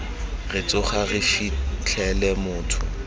re tsoga re fitlhele motho